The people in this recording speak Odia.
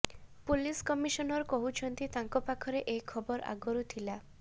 ପୋଲିସ୍ କମିଶନର କହୁଛନ୍ତି ତାଙ୍କ ପାଖରେ ଏ ଖବର ଆଗରୁ ଥିଲା